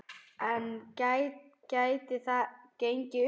En gæti það gengið upp?